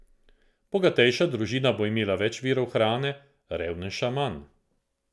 Bogatejša družina bo imela več virov hrane, revnejša manj.